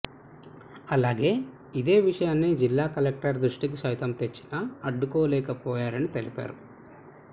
అలాగే ఇదే విషయాన్ని జిల్లా కలెక్టర్ దృష్టికి సైతం తెచ్చినా అడ్డుకోలేకపోయారని తెలిపారు